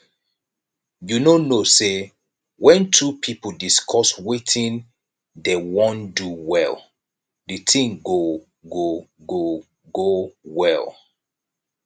you no know say when two people discuss wetin dey wan do well the thing go go go go well